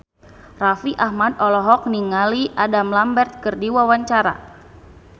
Raffi Ahmad olohok ningali Adam Lambert keur diwawancara